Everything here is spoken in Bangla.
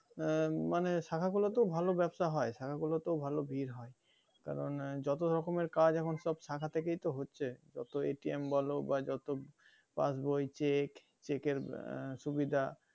হ্যাঁ মানে শাখা গুলাতেও ভালো ব্যবসা হয় শাখা গুলোতেও ভালো ভিড় হয় কারণ যতো রকমের কাজ এখন সব শাখা থেকেই তো হচ্ছে যতো বলো বা যতো pass বই cheque cheque এর আহ সুবিধা